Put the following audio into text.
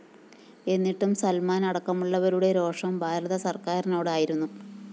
എന്നിട്ടും സല്‍മാന്‍ അടക്കമുള്ളവരുടെ രോഷം ഭാരതസര്‍ക്കാരിനോടായിരുന്നു